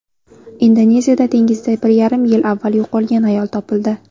Indoneziyada dengizda bir yarim yil avval yo‘qolgan ayol topildi.